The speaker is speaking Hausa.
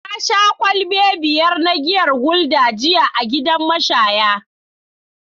Na sha kwalabe biyar na giyar gulder jiya a gidan mashaya